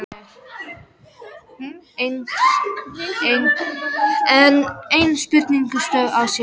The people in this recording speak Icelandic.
Enn ein spurningin stóð á sér.